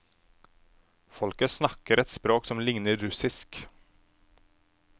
Folket snakker et språk som ligner russisk.